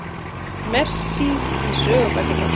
Messi í sögubækurnar